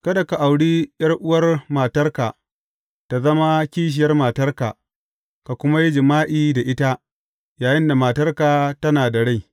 Kada ka auri ’yar’uwar matarka ta zama kishiyar matarka ka kuma yi jima’i da ita yayinda matarka tana da rai.